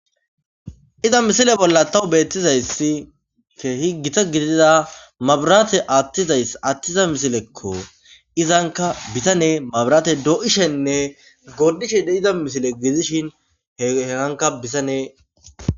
Iza misile bolla tawu beettizayssi keehi gita gidida mabirate attizayss attiza misilekko izanka bisane mabirate doo'ishenne gordishe d iza misile giidishin heheganka bisanee